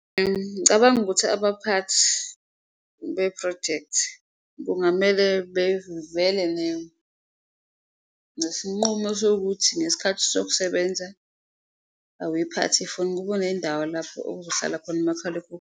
Ngicabanga ukuthi abaphathi bephrojekthi kungamele bevele nesinqumo sokuthi ngesikhathi sokusebenza awuyiphathi ifoni, kube nendawo lapho okuzohlala khona umakhalekhukhwini.